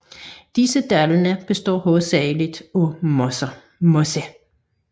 Disse dale består hovedsageligt af moser